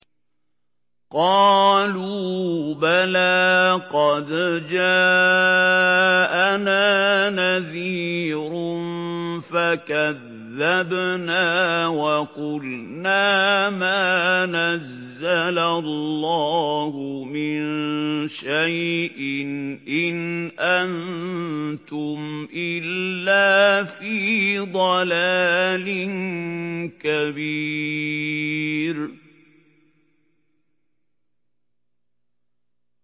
قَالُوا بَلَىٰ قَدْ جَاءَنَا نَذِيرٌ فَكَذَّبْنَا وَقُلْنَا مَا نَزَّلَ اللَّهُ مِن شَيْءٍ إِنْ أَنتُمْ إِلَّا فِي ضَلَالٍ كَبِيرٍ